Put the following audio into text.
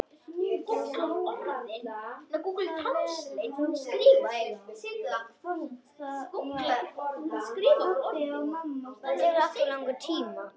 Í þessu veðri?